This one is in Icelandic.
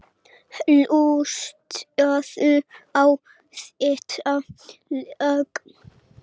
Hlustaðu á þetta lag.